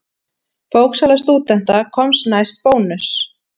Bóksala stúdenta komst næst Bónus.